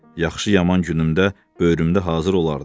Yaxşı-yaman günümdə böyürümdə hazır olardı.